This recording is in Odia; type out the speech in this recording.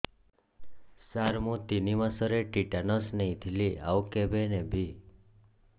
ସାର ମୁ ତିନି ମାସରେ ଟିଟାନସ ନେଇଥିଲି ଆଉ କେବେ ନେବି